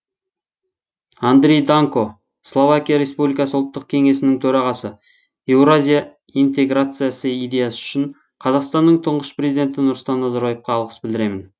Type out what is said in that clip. андрей данко словакия республикасы ұлттық кеңесінің төрағасы еуразия интеграциясы идеясы үшін қазақстанның тұңғыш президенті нұрсұлтан назарбаевқа алғыс білдіремін